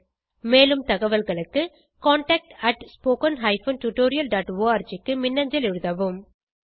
மேலும் தகவல்களுக்கு contactspoken tutorialorg க்கு மின்னஞ்சல் எழுதவும்